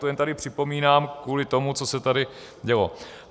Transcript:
To tady jen připomínám kvůli tomu, co se tady dělo.